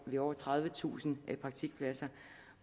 med over tredivetusind praktikpladser